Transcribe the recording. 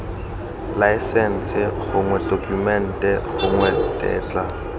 laesense gongwe tokumente gongwe tetla